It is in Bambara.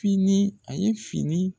Fiini a ye fini